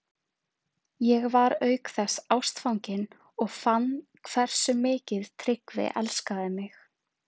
Ég var auk þess ástfangin og fann hversu mikið Tryggvi elskaði mig.